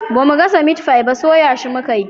Bamu gasa mitfai ba soya shi muka yi